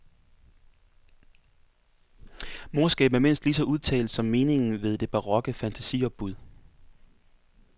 Morskaben er mindst lige så udtalt som meningen ved det barokke fantasiopbud.